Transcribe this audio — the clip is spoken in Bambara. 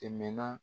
Tɛmɛna